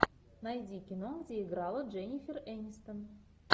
найди кино где играла дженнифер энистон